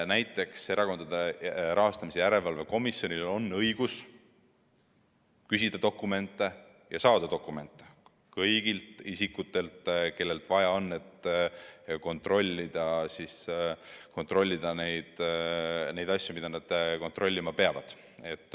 Näiteks on Erakondade Rahastamise Järelevalve Komisjonil õigus küsida ja saada dokumente kõigilt isikutelt, kellelt vaja, et kontrollida neid asju, mida nad kontrollima peavad.